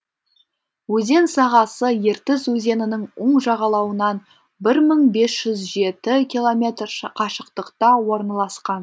өзен сағасы ертіс өзенінің үн жағалауынан бір мың бес жүз жеті километр қашықтықта орналасқан